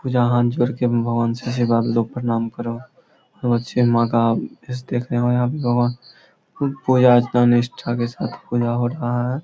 पूजा हाथ जोड़ के भगवान से हे लोग प्रणाम करो और बच्चे माँ का फेस देख रहे है और यहाँ पे भगवान पूजा अर्चना निष्ठा के साथ पूजा हो रहा है ।